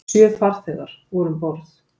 Sjö farþegar voru um borð